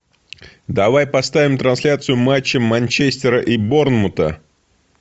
давай поставим трансляцию матча манчестера и борнмута